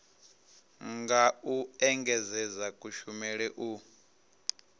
nga u engedzedza kushumele u